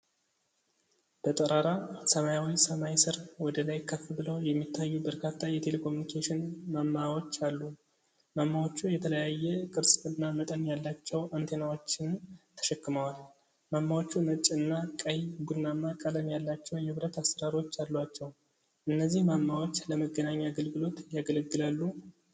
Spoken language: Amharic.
በጠራራ ሰማያዊ ሰማይ ስር ወደ ላይ ከፍ ብለው የሚታዩ በርካታ የቴሌኮሙኒኬሽን ማማዎች አሉ። ማማዎቹ የተለያየ ቅርጽ እና መጠን ያላቸው አንቴናዎችን ተሸክመዋል። ማማዎቹ ነጭ እና ቀይ-ቡናማ ቀለም ያላቸው የብረት አሠራሮች አሏቸው። እነዚህ ማማዎች ለመገናኛ አገልግሎት ያገለግላሉ?